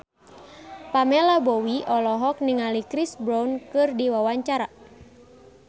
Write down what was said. Pamela Bowie olohok ningali Chris Brown keur diwawancara